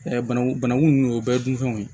bananku banaku nunnu o bɛɛ ye dunfɛnw ye